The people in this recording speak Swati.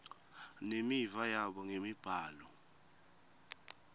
nemiva yabo ngemibhalo